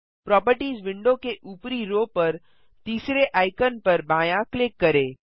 properties window के ऊपरी row पर तीसरे आइकन पर बायाँ क्लिक करें